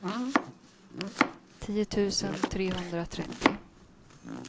tio tusen trehundratrettio